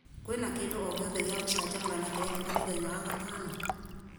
kwĩna kĩndũ o gĩothe gĩa gũcanjamũrana kĩrekĩka mũthenya wa gatano